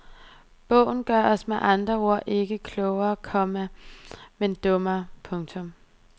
Bogen gør os med andre ord ikke klogere, komma men dummere. punktum